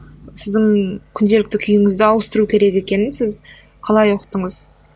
сіздің күнделікті күйіңізді ауыстыру керек екенін сіз қалай ұқтыңыз